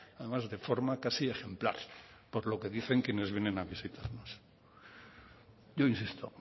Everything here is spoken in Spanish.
además de forma casi ejemplar por lo que dicen quienes vienen a visitarnos yo insisto